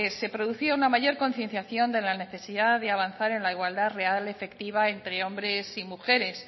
se producía una mayor concienciación de la necesidad de avanzar en la igualdad real efectiva entre hombres y mujeres